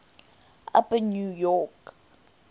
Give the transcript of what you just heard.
upper new york